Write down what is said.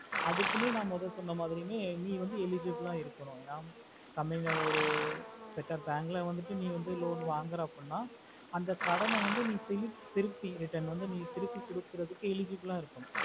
அதுகுமே ந மொத சொன்ன மாரி eligible ஆஹ் இருக்கணும் certain bank நீ வந்துட்டு loan வாங்குற அப்படினா அந்த கடனை வந்து திரும்பி வங்குற retrun குடுக்குறதுக்கு நீ eligible ஆஹ் இருக்கணும்